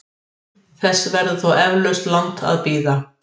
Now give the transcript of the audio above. Þess verður þó eflaust langt að bíða.